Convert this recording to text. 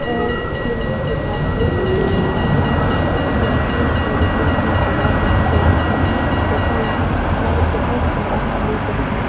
Airplane के पास के फोटो है जहां यात्री एरोप्लेन में सवार होने जा रहे हैं तथा यहां पर बहुत ज्यादा खुली जगह है।